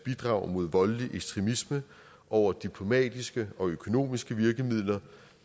bidrag mod voldelig ekstremisme over diplomatiske og økonomiske virkemidler